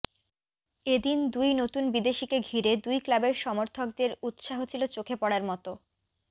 এদিন দুই নতুন বিদেশীকে ঘিরে দুই ক্লাবের সমর্থকদের উৎসাহ ছিল চোখে পড়ার মতো